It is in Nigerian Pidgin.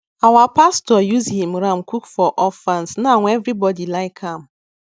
our pastor use him ram cook for orphans now everybody like am